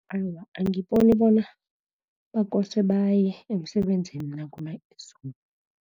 Awa, angiboni bona, bakose baye emsebenzini nakuna izulu.